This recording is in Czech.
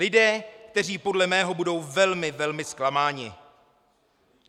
Lidé, kteří podle mého budou velmi, velmi zklamáni.